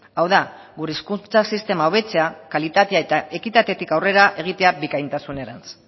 hau da gure hezkuntza sistema hobetzea kalitatea eta ekitatetik aurrera egitea bikaintasunerantz